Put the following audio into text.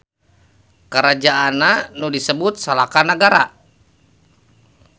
Karajaanna nu disebut Salaka Nagara.